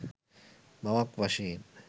මවක් වශයෙන්